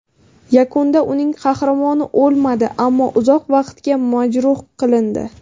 Yakunda uning qahramoni o‘lmadi, ammo uzoq vaqtga majruh qilindi.